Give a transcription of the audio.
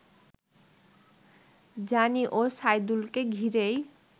Johnny ও সাইদুলকে ঘিরেই